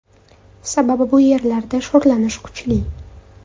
Sababi bu yerlarda sho‘rlanish kuchli.